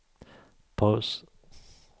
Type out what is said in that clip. paus